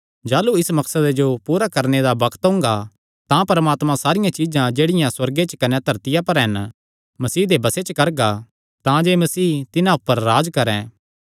जाह़लू इस मकसदे जो पूरा करणे दा बग्त ओंगा तां परमात्मा सारियां चीज्जां जेह्ड़ियां सुअर्गे च कने धरतिया पर हन मसीह दे बसे च करगा तांजे मसीह तिन्हां ऊपर राज्ज करैं